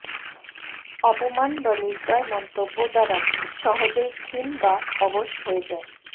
অপমান বা নির্দয় মন্তব্য দ্বারা সহজেই ক্ষীণ বা অবশ হয়ে যায়